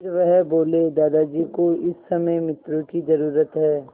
फिर वह बोले दादाजी को इस समय मित्रों की ज़रूरत है